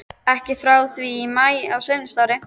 Ekki frá því í maí á seinasta ári.